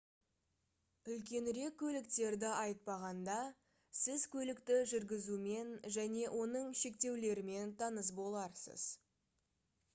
үлкенірек көліктерді айтпағанда сіз көлікті жүргізумен және оның шектеулерімен таныс боларсыз